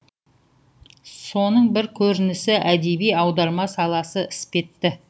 соның бір көрінісі әдеби аударма саласы іспетті